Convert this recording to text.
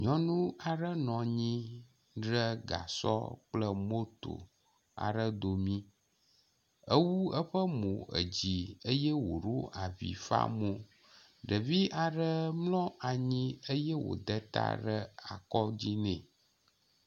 Nyɔnu aɖe nɔ anyi ɖe gasɔ kple moto aɖe dome ewu eƒe mo edzi eye woɖo avi fa mo. Ɖevi aɖe mlɔ anyi eye wode ta ɖe akɔdzi nɛ.